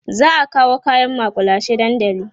za'a kawo kaƴan makullashe dandali